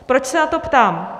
Proč se na to ptám?